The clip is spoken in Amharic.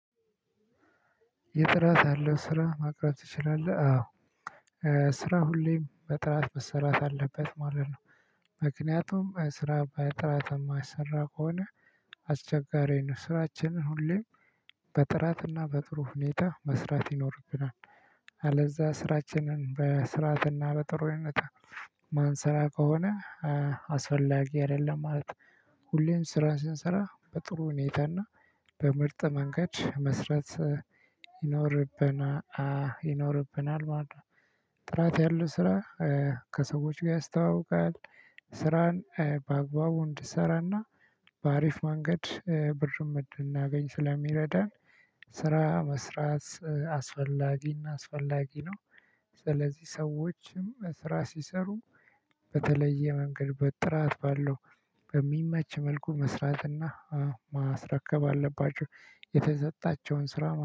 የጥራት ያለው ስራ ማቅረብ ትችላለህ አዎ ስራ ሁሌም በጥራት መሰራት አለበት ማለት ነው። ምክንያቱም ስራ በጥራት የማሰራ ከሆነ አስቸጋሪ ነው። ስራችንን ሁሌም በጥራትና በጥሩ ሁኔታ መስራት ይኖርብናል። አለዛ ስራችንን በስርዓትና በጥሩነት ማን ስራ ከሆነ አስፈላጊ አይደለም። ማለት ሁሌም ስራን ስንሰራ በጥሩ ሁኔታና በምርጥ መንገድ መስራት ይኖርብና አ ይኖርብናል ማለት ነው። ጥራት ያለው ስራ ከሰዎች ጋር ያስተዋውቃል። ስራን በአግባቡ እንድሰራና በአሪፍ መንገድ ብርም እንድናገኝ ስለሚረዳን። ስራ መስራት አስፈላጊና አስፈላጊ ነው። ስለዚህ ሰዎችም ስራ ሲሰሩ በተለየ መንገድ በጥራት ባለው በሚመች መልኩ መስራትና ማስረከብ አለባቸው። የተሰጣቸውን ስራ